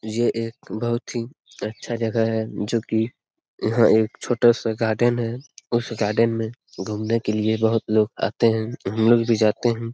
ये एक बहुत ही अच्छा जगह है जो की यहाँ एक छोटा सा गार्डन है उस गार्डन में घूमने के लिए बहुत लोग आते है हमलोग भी जाते है।